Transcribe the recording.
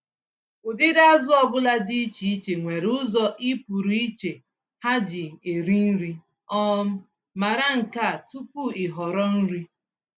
Ụdịrị azụ ọbula dị iche iche nwere ụzọ i pụrụ iche ha ji eri nri- um mara nkea tupu ị họrọ nri.